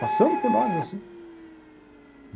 Passando por nós, assim.